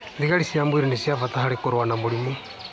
Thigari cia mwĩrĩ nĩ cia bata harĩ kũrũa na mĩrimũ